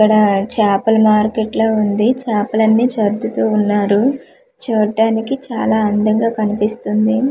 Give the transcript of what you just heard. ఇక్కడ చేపల మార్కెట్ లా ఉంది చాపలన్నీ సర్దుతూ ఉన్నారు చూడ్డానికి చాలా అందంగా కనిపిస్తుంది.